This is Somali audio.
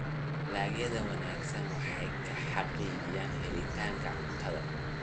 Dalagyada wanaagsan waxay xaqiijinayaan helitaanka cuntada.